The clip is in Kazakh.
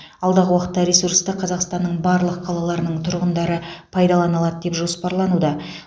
алдағы уақытта ресурсты қазақстанның барлық қалаларының тұрғындары пайдалана алады деп жоспарлануда